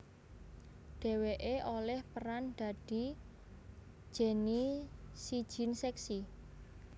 Dheweké olih peran dadi Ginnie si jin seksi